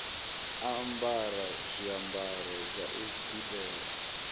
ambara zwiambaro zwa u dudela